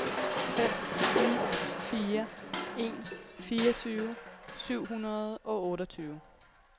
fem ni fire en fireogtyve syv hundrede og otteogtyve